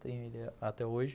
Tenho ele até hoje.